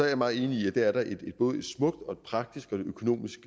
jeg meget enig i at det er der både et smukt praktisk og økonomisk